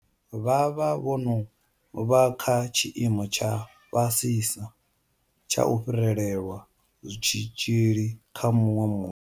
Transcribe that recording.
Vha vha vho no vha kha tshiimo tsha fhasisa tsha u fhirelelwa tshitzhili kha muṅwe.